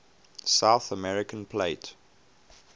south american plate